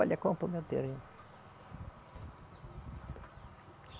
Olha a compra o meu terreno.